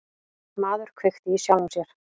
Maður kveikti í sjálfum sér